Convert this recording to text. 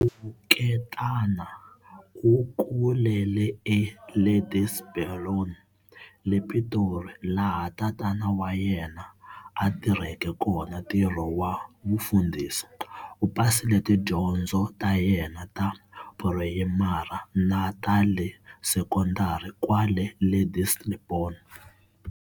Thuketana u kulele eLadyselborne le Pitori laha tatana wa yena a tirhela kona ntirho wa vufundhisi. U pasile tidyondzo ta yena ta purayimari na ta le sekondari kwale Ladyselborne.